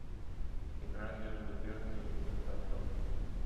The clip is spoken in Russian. игра между бернли и ньюкасл